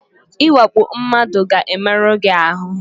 Ịwakpo mmadụ ga-emerụ gị ahụ.